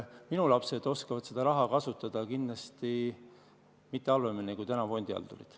Minu lapsed oskavad seda raha kasutada kindlasti mitte halvemini kui praegused fondihaldurid.